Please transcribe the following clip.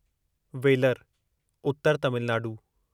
velar उतर तमिलनाडू